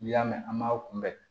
N'i y'a mɛn an b'a kunbɛ